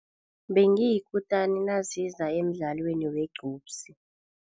Bengiyikutani naziza emdlaweni wegqubsi.